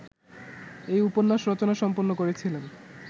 এই উপন্যাস রচনা সম্পন্ন করেছিলেন